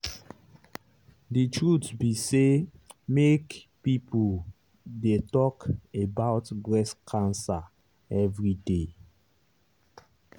the truth be say make people dey talk about breast cancer everyday.